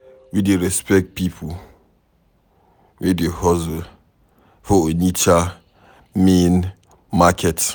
We dey respect pipo wey dey hustle for Onitsha main market.